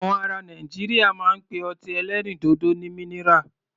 Àwọn ará Nàìjíríà máa ń pe ọtí ẹlẹ́rìndòdò ní minira.